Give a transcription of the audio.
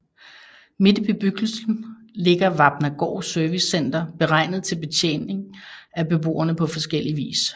Midt i bebyggelsen ligger Vapnagaard Servicecenter beregnet til betjening af beboerne på forskellig vis